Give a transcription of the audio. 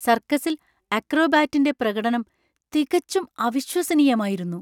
സർക്കസിൽ അക്രോബാറ്റിന്‍റെ പ്രകടനം തികച്ചും അവിശ്വസനീയമായിരുന്നു!